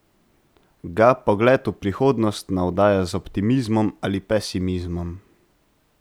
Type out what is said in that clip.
Ga pogled v prihodnost navdaja z optimizmom ali pesimizmom?